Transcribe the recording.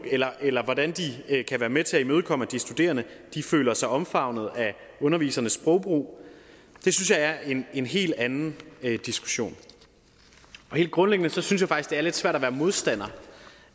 eller eller hvordan de kan være med til at imødekomme at de studerende føler sig omfavnet af undervisernes sprogbrug synes jeg er en helt anden diskussion helt grundlæggende synes det er lidt svært at være modstander